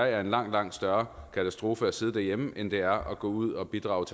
er en langt langt større katastrofe at sidde derhjemme end det er at gå ud og bidrage